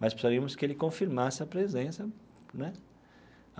Mas precisaríamos que ele confirmasse a presença, né?